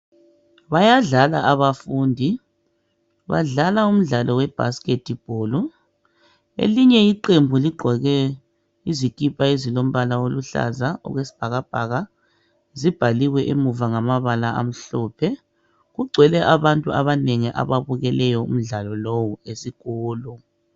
Bayadlala abafundi, badlala umdlalo we bhasiketi bholu. Elinye iqembu ligqoke izikipa ezilombala oluhlaza okwesibhakabhaka zibhaliwe emuva ngamabala amhlophe. Kugcwele abantu abanengi ababukeleyo umdlalo lowu esikolo.